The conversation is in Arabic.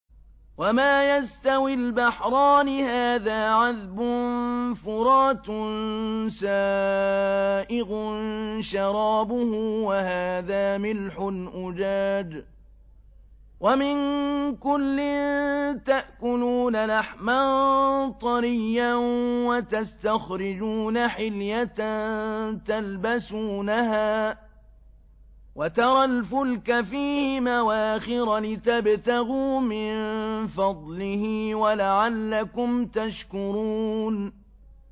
وَمَا يَسْتَوِي الْبَحْرَانِ هَٰذَا عَذْبٌ فُرَاتٌ سَائِغٌ شَرَابُهُ وَهَٰذَا مِلْحٌ أُجَاجٌ ۖ وَمِن كُلٍّ تَأْكُلُونَ لَحْمًا طَرِيًّا وَتَسْتَخْرِجُونَ حِلْيَةً تَلْبَسُونَهَا ۖ وَتَرَى الْفُلْكَ فِيهِ مَوَاخِرَ لِتَبْتَغُوا مِن فَضْلِهِ وَلَعَلَّكُمْ تَشْكُرُونَ